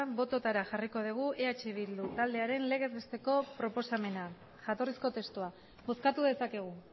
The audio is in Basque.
bototara jarriko dugu eh bildu taldearen legez besteko proposamena jatorrizko testua bozkatu dezakegu